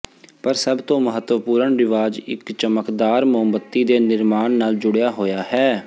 ਪਰ ਸਭ ਤੋਂ ਮਹੱਤਵਪੂਰਣ ਰਿਵਾਜ ਇੱਕ ਚਮਕਦਾਰ ਮੋਮਬੱਤੀ ਦੇ ਨਿਰਮਾਣ ਨਾਲ ਜੁੜਿਆ ਹੋਇਆ ਹੈ